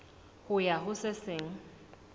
ho ya ho se seng